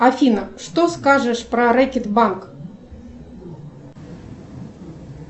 афина что скажешь про рэкет банк